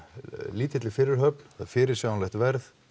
lítilli fyrirhöfn fyrirsjáanlegt verð